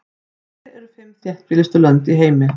Hver eru fimm þéttbýlustu lönd í heimi?